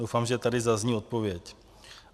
Doufám, že tady zazní odpověď.